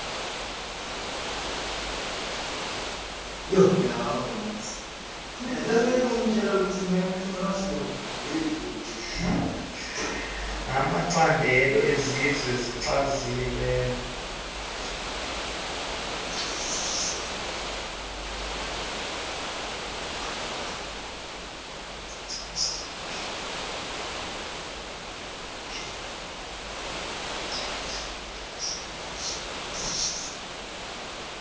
namacandelo esizwe ezichazimagama